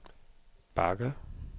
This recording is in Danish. bakke